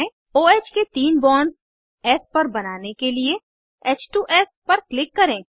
ओह के तीन bonds S पर बनाने के लिए h2एस पर क्लिक करें